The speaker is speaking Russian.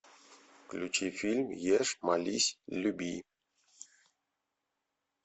включи фильм ешь молись люби